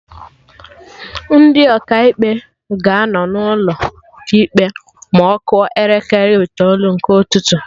Ndị Ọkaikpe ga-anọ n'ụlọ ikpe ma ọ kụọ elekere itoolu nke ụtụtụ